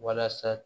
Walasa